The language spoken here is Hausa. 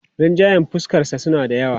Rinjayen fuskarsa suna da yawa.